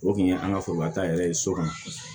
O kun ye an ka foroba ta yɛrɛ ye so kɔnɔ